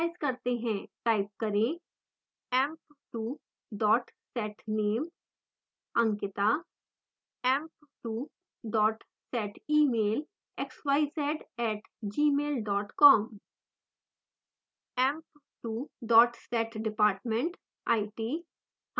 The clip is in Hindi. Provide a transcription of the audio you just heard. type करें